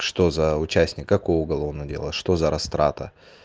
что за участника какого уголовного дела что за растрата